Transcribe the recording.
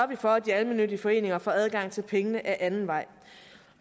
vi for at de almennyttige foreninger får adgang til pengene ad anden vej